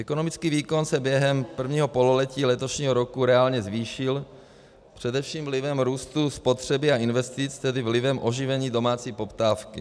Ekonomický výkon se během prvního pololetí letošního roku reálně zvýšil především vlivem růstu spotřeby a investic, tedy vlivem oživení domácí poptávky.